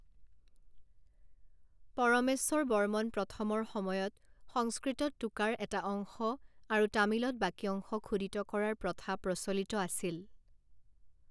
পৰমেশ্বৰবৰ্মন প্ৰথমৰ সময়ত, সংস্কৃতত টোকাৰ এটা অংশ আৰু তামিলত বাকী অংশ খোদিত কৰাৰ প্ৰথা প্ৰচলিত আছিল।